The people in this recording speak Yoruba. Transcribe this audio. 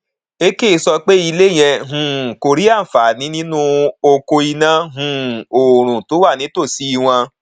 ekeh sọ pé ilé yẹ um kó rí àǹfààní nínú oko iná um oòrùn tó wà nítòsí wọn